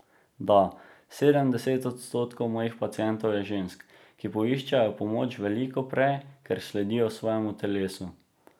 Da, sedemdeset odstotkov mojih pacientov je žensk, ki poiščejo pomoč veliko prej, ker sledijo svojemu telesu.